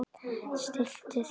Stilltu þig!